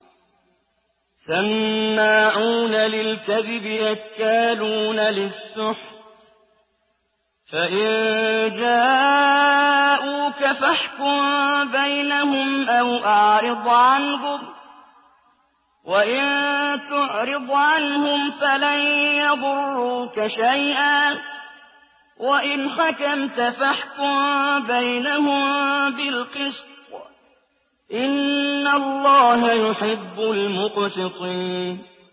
سَمَّاعُونَ لِلْكَذِبِ أَكَّالُونَ لِلسُّحْتِ ۚ فَإِن جَاءُوكَ فَاحْكُم بَيْنَهُمْ أَوْ أَعْرِضْ عَنْهُمْ ۖ وَإِن تُعْرِضْ عَنْهُمْ فَلَن يَضُرُّوكَ شَيْئًا ۖ وَإِنْ حَكَمْتَ فَاحْكُم بَيْنَهُم بِالْقِسْطِ ۚ إِنَّ اللَّهَ يُحِبُّ الْمُقْسِطِينَ